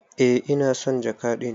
Eh ina son jaka din.